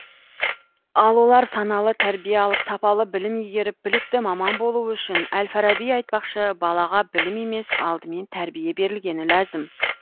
ал олар саналы тәрбие алып сапалы білім игеріп білікті маман болуы үшін әл фараби айтпақшы балаға білім емес алдымен тәрбие берілгені ләзім